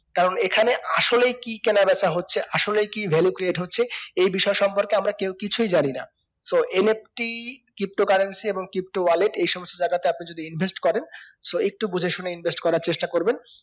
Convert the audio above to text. কারণ এখানে আসলেই কি কেনাবেচা হচ্ছে আসলেই কি value create হচ্ছে এই বিষয় সম্পর্কে আমরা কেও কিছুই জানি soNFTpto currency এবং pto wallet এই সমস্ত জায়গাতে আপনি যদি invest করেন so একটু বুজে শুনে invest করার চেষ্টা কোবেন